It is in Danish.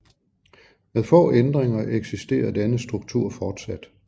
Med få ændringer eksisterer denne struktur fortsat